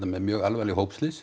með mjög alvarleg